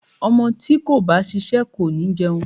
Ọmọ tí kò bá ṣiṣẹ́ kò ní jẹun.